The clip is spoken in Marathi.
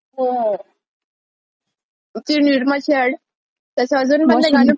ती निरमा ची ऍड त्याच अजून पण ते गाणं पूर्ण वॉशिंग पावडर निरमा, हो आठवल्या जात.